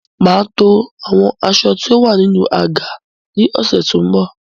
Mà á to àwọn aṣọ tí ó wà nínú àga ní ọ̀sẹ̀ tó ń bọ̀.